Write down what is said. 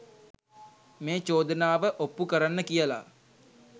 මේ චෝදනාව ඔප්පු කරන්න කියලා